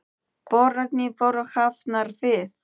Boranir voru hafnar við